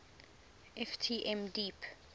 ft m deep